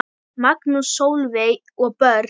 Magnús, Sólveig og börn.